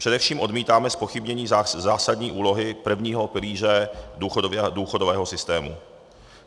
Především odmítáme zpochybnění zásadní úlohy prvního pilíře důchodového systému.